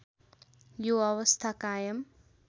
यो अवस्था कायम